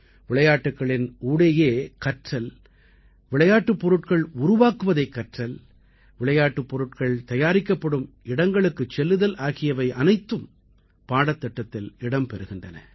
விளையாட்டுக்களின் ஊடேயே கற்றல் விளையாட்டுப் பொருட்கள் உருவாக்குவதைக் கற்றல் விளையாட்டுப் பொருட்கள் தயாரிக்கப்படும் இடங்களுக்குச் செல்லுதல் ஆகியவை அனைத்தும் பாடத்திட்டத்தில் இடம் பெறுகின்றன